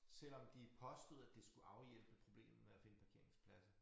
Selvom de påstod at det skulle afhjælpe problemet med at finde parkeringspladser